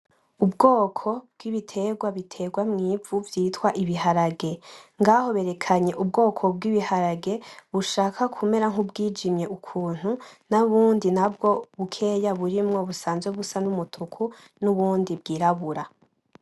Ubwoko bw'ibitegwa bitegwa mw'ivu vyitwa ibiharage, ngaho berekanye ubwo bw'ibiharage bushaka kumera nkubwijimye ukuntu, naho ubundi bukeye burimwo busazwe busa nk'umutuku nubundi bw'irabura.